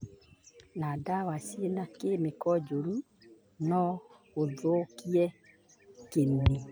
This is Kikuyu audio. Na ndawa ciĩna kemiko njũru no gũthũkie kĩni.